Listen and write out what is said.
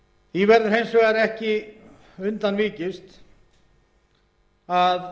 því verður hins vegar ekki undan vikist að